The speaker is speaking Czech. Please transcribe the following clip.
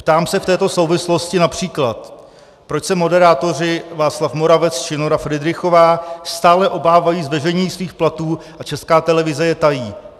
Ptám se v této souvislosti například, proč se moderátoři Václav Moravec či Nora Fridrichová stále obávají zveřejnění svých platů a Česká televize je tají.